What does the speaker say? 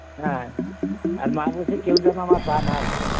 হ্যাঁ, আর মা বলছে কেউ যেন আমার পা না ধরে